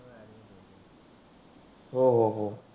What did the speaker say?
हो हो हो.